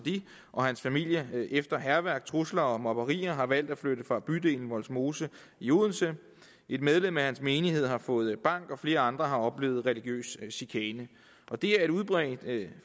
og hans familie efter hærværk trusler og mobberier har valgt at flytte fra bydelen vollsmose i odense et medlem af hans menighed har fået bank og flere andre har oplevet religiøs chikane det er et udbredt